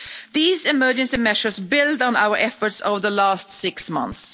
These emergency measures build on our efforts over the last six months.